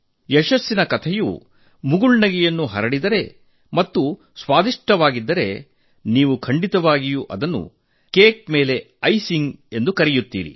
ಯಶಸ್ಸಿನ ಕಥೆಯು ಮುಗುಳ್ನಗೆ ಹರಡಿದರೆ ಮತ್ತು ಸಿಹಿಯಾಗಿ ರಚಿಸಿದರೆ ನೀವು ಖಂಡಿತವಾಗಿಯೂ ಅದನ್ನು ಕೇಕ್ ಮೇಲೆ ಐಸ್ ಇಟ್ಟ ಹಾಗೆ ಎಂದು ಕರೆಯುತ್ತೀರಿ